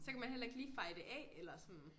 Så kan man heller ikke lige feje det af eller sådan